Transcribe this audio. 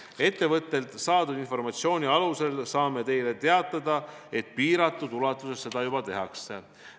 Ettevõttelt saadud informatsiooni alusel saame teile teatada, et piiratud ulatuses seda juba tehakse.